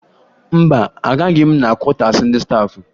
Mba, agaghị m na kwọtaasi ndị staafụ